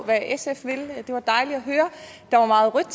hvad sf vil det var dejligt at høre der var meget rødt